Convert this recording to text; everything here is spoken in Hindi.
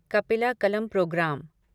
कपिला कलम प्रोग्राम